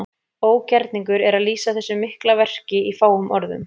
Ógerningur er að lýsa þessu mikla verki í fáum orðum.